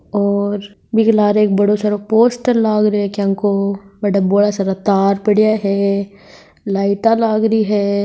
और बिके लार एक बड़ों सारो पोस्टर लाग रेयो है क्यानको बठ बोला सारा तार पडया है लाइटा लाग री है।